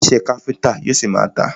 Iṣẹ́ káfíńńtà yóò ṣi má a tà.